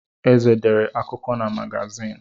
Eze dere akụkọ na magazin.